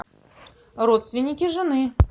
родственники жены